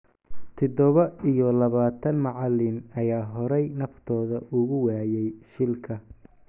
Tidoba iyo labatan macalin ayaa horey naftooda ugu waayey shilka.